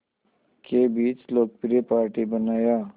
के बीच लोकप्रिय पार्टी बनाया